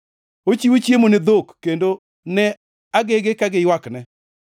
Ochiwo chiemo ne dhok kendo ne agege ka giywakne.